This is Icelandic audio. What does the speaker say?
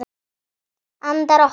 Andar okkar!